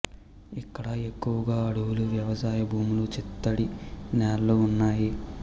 ఇక్కడ ఎక్కువగా అడవులు వ్యవసాయ భూములు చిత్తడి నేలలు ఉన్నాయి